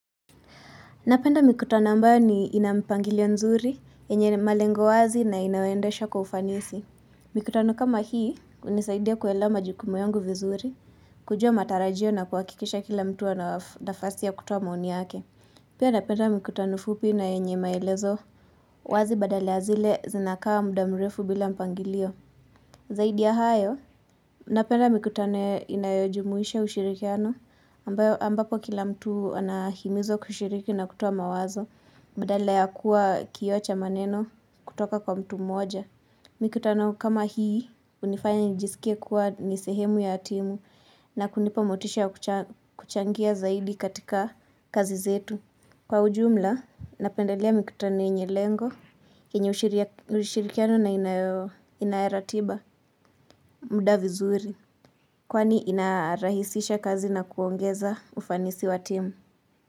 Napenda mikutano ambayo inampangilio nzuri, enye malengo wazi na inaondeshwa kwa ufanisi. Mikutano kama hii, hunisaidia kuelewa majukumu yangu vizuri, kujua matarajio na kuhakikisha kila mtu ana nafasi ya kutuoa maoni yake. Pia napenda mikutano fupi na yenye maelezo wazi badala ya zile zinakaa muda mrefu bila mpangilio. Zaidi ya hayo, napenda mikutano inayojumuisha ushirikiano ambapo kila mtu anahimizwa kushiriki na kutuoa mawazo Badala ya kuwa kioo cha maneno kutoka kwa mtu moja Mikutano kama hii, hunifanya nijisikie kuwa ni sehemu ya timu na kunipa motisha ya kuchangia zaidi katika kazi zetu Kwa ujumla, napendelea mikutano yenye lengo kenye ushirikiano na ina ratiba muda vizuri kwani inarahisisha kazi na kuongeza ufanisi wa team.